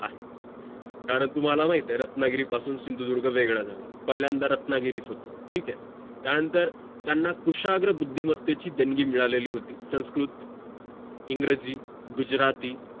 कारण तुम्हाला माहित आहे रत्नागिरी पासून सिंधुदुर्ग वेगळा झाला पाहिलांदा रत्नागिरीच होत ठीक आहे त्या नंतर त्यांना कुशाग्र बुद्धिमत्तेची देणगी मिळालेली होती संस्कृत, इंग्रजी, गुजराती